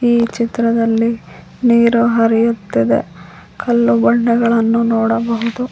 ಈ ಚಿತ್ರದಲ್ಲಿ ನೀರು ಹರಿಯುತ್ತಿದೆ ಕಲ್ಲು ಬಂಡೆಗಳನ್ನು ನೋಡಬಹುದು.